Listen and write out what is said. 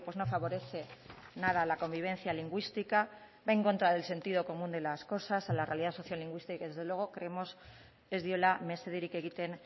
no favorece nada a la convivencia lingüística va en contra el sentido común de las cosas a la realidad sociolingüística y desde luego creemos ez diola mesederik egiten